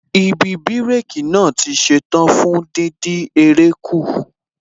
Ibi bírékī naa tí ṣetán fún díndín eré kù